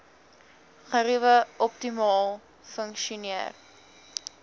geriewe optimaal funksioneer